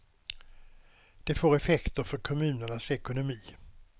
Det får effekter för kommunernas ekonomi.